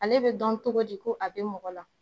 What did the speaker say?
Ale bɛ dɔn cogo di ko a bɛ mɔgɔ la